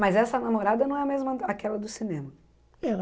Mas essa namorada não é a mesma aquela do cinema?